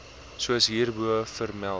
soos hierbo vermeld